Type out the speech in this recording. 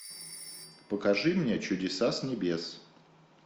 покажи мне чудеса с небес